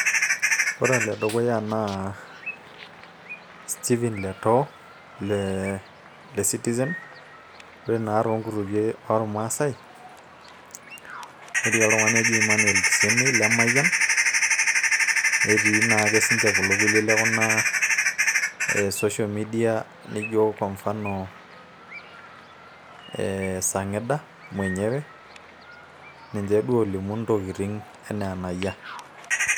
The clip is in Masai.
Ore o ledukuya naa Stephen letoo le citizen ore naa toonkutukie ormaasay netii oltung'ani oji Emannuel kisemei le mayian netii naake sinche kulo kulie le kuna social media nijo kwa mfano Sangida mwenyewe ninje duo oolimu ntokitin enaa enayia.